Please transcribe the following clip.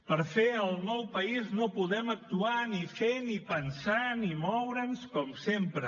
per fer el nou país no podem actuar ni fer ni pensar ni moure’ns com sempre